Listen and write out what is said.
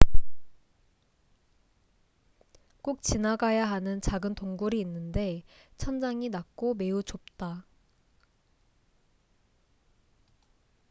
꼭 지나가야 하는 작은 동굴이 있는데 천장이 낮고 매우 좁다